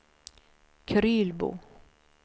Krylbo